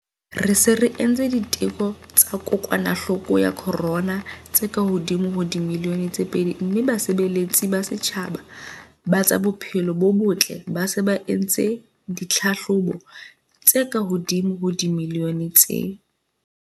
Re se re entse diteko tsa kokwanahloko ya corona tse kahodimo ho dimilione tse pedi mme basebeletsi ba setjhaba ba tsa bophelo bo botle ba se ba entse ditlhahlobo tse kahodimo ho dimilione tse